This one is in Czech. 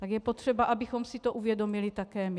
Tak je potřeba, abychom si to uvědomili také my.